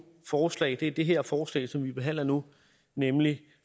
forslag er det her forslag som vi behandler nu nemlig